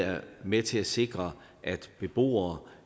med til at sikre at beboere